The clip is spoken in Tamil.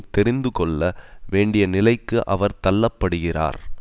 தெரிந்து கொள்ள வேண்டிய நிலைக்கு அவர் தள்ளப்படுகிறார்